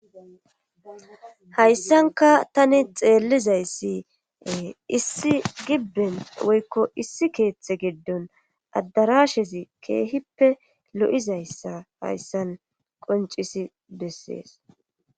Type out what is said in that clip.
hayssanka tani xeellizayssi issi gibben woykko issi keeththe geddon addarashezi keehippe lo7izayssa hayssan qoncisi bessees